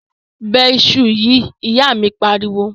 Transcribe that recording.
Bẹ iṣu yìí!, ìyá míì pariwo.